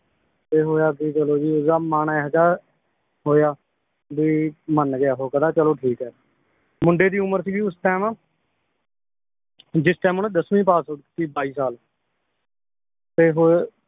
ਤੇ ਹੋਇਆ ਕੀ ਚਲੋ ਜੀ ਓਹਦਾ ਮਨ ਇਹੋ ਜੇਹਾ ਹੋਇਆ ਬੀ ਮੰਨ ਗਿਆ ਉਹ ਕਹਿੰਦਾ ਚਲੋ ਠੀਕ ਏ ਮੁੰਡੇ ਦੀ ਉਮਰ ਸੀਗੀ ਉਸ ਟਾਈਮ ਜਿਸ ਟਾਈਮ ਓਹਨੇ ਦੱਸਵੀਂ ਪਾਸ ਕੀਤੀ ਬਾਈ ਸਾਲ ਤੇ ਹੋ